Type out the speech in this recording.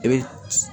I bɛ